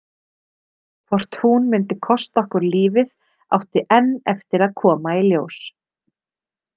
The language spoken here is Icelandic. Hvort hún myndi kosta okkur lífið átti enn eftir að koma í ljós.